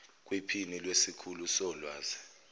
kwiphini lesikhulu solwazi